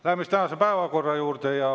Läheme siis tänase päevakorra juurde.